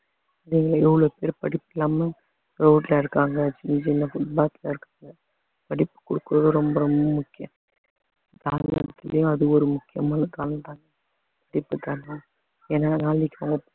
வெளில எவ்வளவு பேர் படிக்காம road ல இருக்காங்க சின்ன சின்ன foot path இருக்காங்க படிப்பு கொடுக்கிறது ரொம்ப ரொம்ப முக்கியம் அது ஒரு முக்கியமான ஏன்னா நாளைக்கு அவங்க